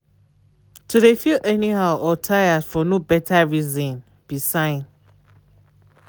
to de feel any how or tired for no better reason be sign.